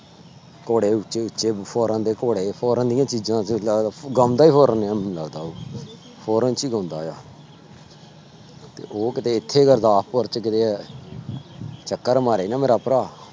ਘੋੜੇ ਉੱਚੇ ਉੱਚੇ foreign ਦੇ ਘੋੜੇ foreign ਦੀਆਂ ਚੀਜ਼ਾਂ ਗਾਉਂਦਾ ਹੀ foreign foreign ਚ ਹੀ ਗਾਉਂਦਾ ਆ ਤੇ ਉਹ ਕਿੱਤੇ ਇੱਥੇ ਗੁਰਦਾਸਪੁਰ ਚ ਕਿਤੇ ਟੱਕਰ ਮਾਰੇ ਨਾ ਮੇਰਾ ਭਰਾ,